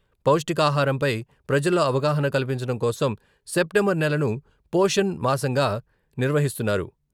పౌష్టికాహారంపై ప్రజల్లో అవగాహన కల్పించడం కోసం సెప్టెంబర్ నెలను పోషణ్ మాసంగా నిర్వహిస్తున్నారు.